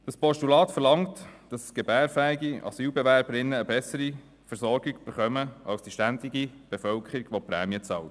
Das vorliegende Postulat verlangt, dass gebärfähige Asylbewerberinnen eine bessere Versorgung erhalten als die ständige Wohnbevölkerung, welche Prämien bezahlt.